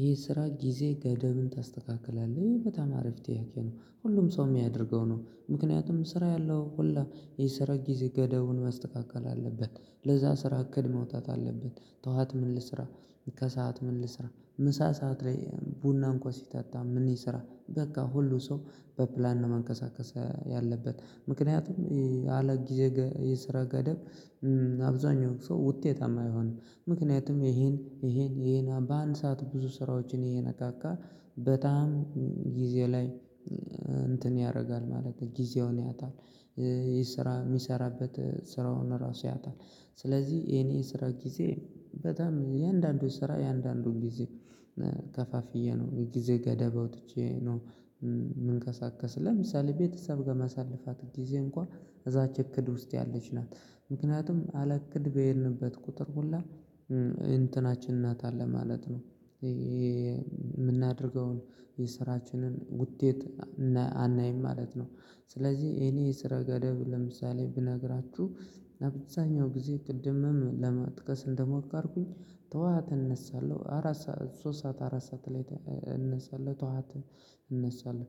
ይህ ስራ ጊዜ ገደብን ታስተካክላለህ ወይ? በጣም አሪፍ ጥያቄ ነው ሁሉም ሰው የሚያደርገው ነው ምክንያቱም ስራ ያለው ሁላ የሰራ ጊዜ ገደቡን መስተካከል አለበት ለዛ ስራ እቅድ መውጣት አለበት ጠዋት ምን ልስራ ከሰአት ምን ልስራ ምሳ ሰዓት ላይ ቡና እንኳን ሲጠጣ ምን ይስራ በቃ ሁሉ ሰው በፕላን ነው መንቀሳቀስ ያለበት ምክንያቱም አለ ጊዜ የስራ ገደብ አብዛኛው ሰው ውጤታማ አይሆንም ምክንያቱም ይሄን ይሄን ይሄን በአንድ ሰዓት ብዙ ስራዎችን ይየነካካ በጣም ጊዜ ላይ እንትን ያደርጋል ማለት ነው ጊዜውን ያጣል የስራ የሚሰራበት ስራውን ራሱ ያጣል ስለዚህ የኔ ስራ ጊዜ በጣም እያንዳንዱን ስራ እያንዳንዱን ጊዜ ከፋፍዬ ነው የጊዜ ገደብ አውጥቼ ነው የምንቀሳቀስ ለምሳሌ ቤተሰብ ጋር ማሳልፋት ጊዜ እንኳን እዛች እቅድ ውስጥ ያለች ናት ምክንያቱም አለቅድ በሄድንበት ቁጥር ሁላ እንትናችን እናጣለን ማለት ነው የምናደርገውን የስራችንን ውጤት አናይም ማለት ነው ስለዚህ የኔ ስራ ገደብ ለምሳሌ ብነግራችሁ በብዛኛው ጊዜ ቅድምም ለማጥቀስ እንደሞከርኩኝ ጠዋት ተነሳለሁ አራት ሰዓት ሶስት ሰዓት አራት ሰዓት ላይ እነሳለሁ ጠዋት እነሳለሁ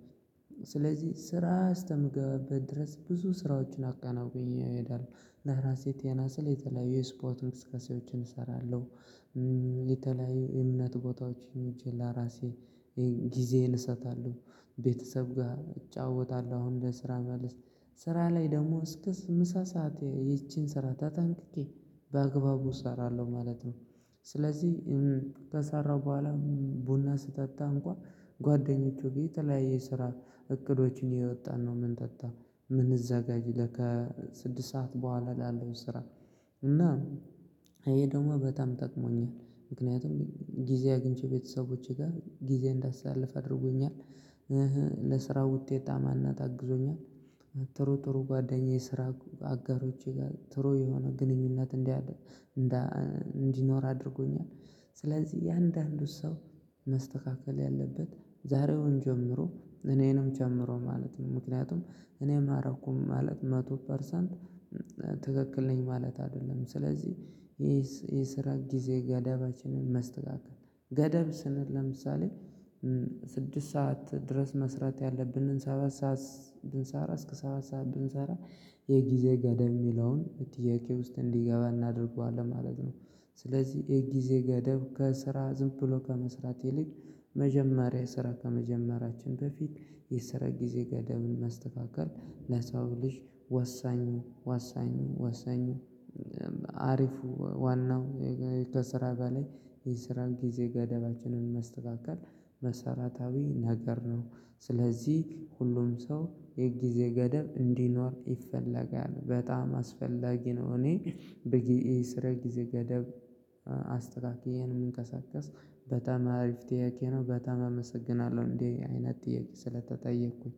ስለዚህ ስራ አስከምገባበት ድረስ ብዙ ስራዎችን አከናውኜ እሄዳለሁ ለራሴ ጤና ስል የተለያዩ የስፖርት እንቅስቃሴዎችን እሰራለሁ የተለያዩ የእምነት ቦታዎች ውጪ ለራሴ ጊዜዬን እሰጣለሁ ቤተሰብ ጋር እጫወታለሁ አሁን ከስራ መልስ ስራ ላይ ደግሞ እስከ ምሳ ሰዓት ይቺን ስራ ታጠንቅቄ በአግባቡ እሰራለሁ ማለት ነው ስለዚህ ከሰራው በኋላ ቡና ስጠጣ እንኳን ጓደኞቼ ጋር የተለያየ ስራ እቅዶችን እያወጣን ነው ምንጠጣ ምንዘጋጅ ከ ስድስት ሰዓት በኋላ ላለው ስራ እና ይሄ ደግሞ በጣም ጠቅሞኛል ምክንያቱም ጊዜ አግኝቼ ቤተሰቦቼ ጋር ጊዜ እንዳሳልፍ አድርጎኛል ለስራ ውጤታማነት አግዞኛል ጥሩ ጥሩ ጓደኛዬ ስራ አጋሮቼ ጋር ጥሩ የሆነ ግንኙነት እንዲህ እንዲኖር አድርጎኛል ስለዚህ እንዳንዱ ሰው መስተካከል ያለበት ዛሬውኑ ጀምሮ እኔንም ጨምሮ ማለት ነው ምክንያቱም እኔ ማረገውን ማረግ መቶ ፐርሰንት ትክክል ነኝ ማለት አይደለም ስለዚህ የስራ ጊዜ ገደባችንን መስተካከል ገደብ ስንል ለምሳሌ ስድስት ሰዓት ድረስ መስራት ያለብንን ሰባት ሰዓት ብንሰራ እስከ ሰባት ሰዓት ብንሰራ የጊዜ ገደብ የሚለውን ጥያቄ ውስጥ እንዲገባ እናድርገዋለን ማለት ነው ስለዚህ የጊዜ ገደብ ከስራ ዝም ብሎ ከመስራት ይልቅ መጀመሪያ ስራ ከመጀመራችን በፊት የሰራ ጊዜ ገደብን ማስተካከል ለሰው ልጅ ወሳኙ ወሳኙ ወሳኙ አሪፉ ዋናው ከስራ በላይ የስራን ጊዜ ገደባችንን ማስተካከል መሰረታዊ ነገር ነው ስለዚህ ሁሉም ሰው የጊዜ ገደብ እንዲኖር ይፈለጋል በጣም አስፈላጊ ነው እኔ በጊዜ የስራ ጊዜ ገደብ አስተካክዬ ነው እምንቀሳቀስ በጣም አሪፍ ጥያቄ ነው በጣም አመሰግናለሁ እንዲህ አይነት ጥያቄ ስለተጠየቅኩኝ